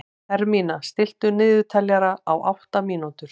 Hermína, stilltu niðurteljara á átta mínútur.